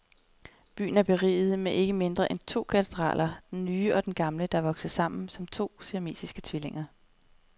Byen er beriget med ikke mindre end to katedraler, den nye og den gamle, der er vokset sammen, som var de siamesiske tvillinger.